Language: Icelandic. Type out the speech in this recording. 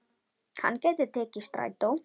Hann gæti tekið strætó.